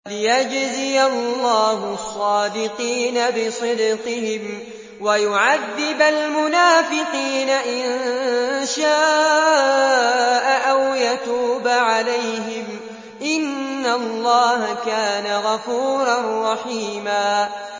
لِّيَجْزِيَ اللَّهُ الصَّادِقِينَ بِصِدْقِهِمْ وَيُعَذِّبَ الْمُنَافِقِينَ إِن شَاءَ أَوْ يَتُوبَ عَلَيْهِمْ ۚ إِنَّ اللَّهَ كَانَ غَفُورًا رَّحِيمًا